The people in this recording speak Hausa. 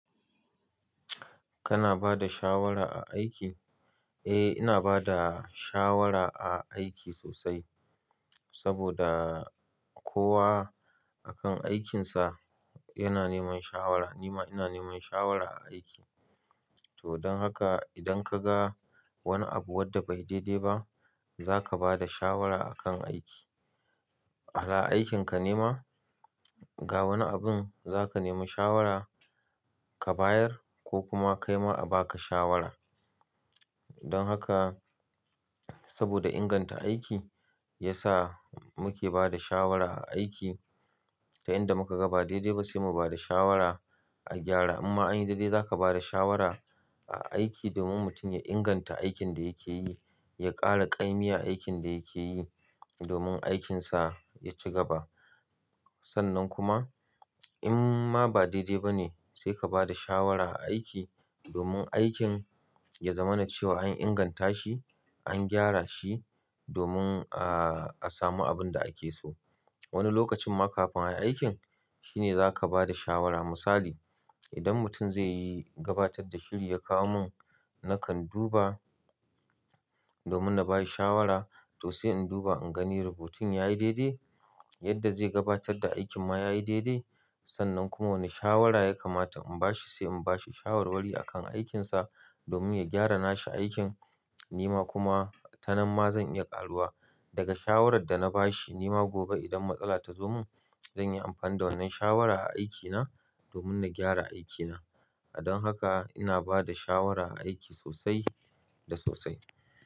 Kana ba da shawara a aiki? Eh, ina ba da shawara a aiki sosai saboda kowa akan aikinsa yana neman shawara. Nima ina neman shawara a aiki. To don haka idan ka ga wani abu wadda bai daidai ba zaka ba da shawara akan aiki. Hala aikinka neh ma, ga wani abin zaka nemi shawara ka bayar ko kuma ka yi ma a ba ka shawara. Don haka saboda inganta aiki ya sa muke ba da shawara a aiki ta inda muka ga ba daidai ba sai mu ba da shawara a gyara. Amma anyi daidai zaka ba da shawara a aiki domin mutum ya inganta aikin da yake yi, ya ƙara ƙa'imi a aikin da yake yi domin aikinsa ya ci gaba. Sannan kuma in ma ba daidai ba ne sai ka ba da shawara a aiki domin aikin ya zama na cewa an inganta shi, an gyara shi domin a samu abin da ake so. Wani lokacin ma kafin ayi aikin shine zaka ba da shawara. Misali, idan mutum zai yi gabatar da shiri ya kawo mun nakan duba domin na bayi shawara to sai in duba in gani rubutun ya yi daidai, yadda zai gabatar da aikin ma ya yi daidai. Sannan kuma wani shawara ya kamata in bashi sai in bashi shawarwari akan aikinsa domin ya gyara nashi aikin. Nima kuma ta nan ma zan iya ƙaruwa daga shawarar da na bashi nima gobe idan matsala ta zo mun zan yi amfani da wannan shawara a aikina domin na gyara aikina. Don haka ina ba da shawara a aiki sosai da sosai.